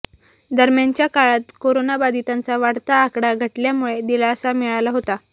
दरम्यानच्या काळात करोना बाधितांचा वाढता आकडा घटल्यामुळे दिलासा मिळाला होता